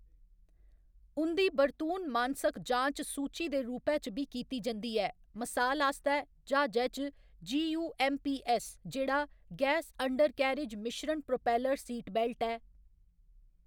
उं'दी बरतून मानसक जांच सूची दे रूपै च बी कीती जंदी ऐ, मसाल आस्तै ज्हाजै च, 'जी.यू.ऐम्म.पी.ऐस्स.', जेह्‌‌ड़ा 'गैस अंडरकैरिज मिश्रण प्रोपेलर सीटबेल्ट' ऐ।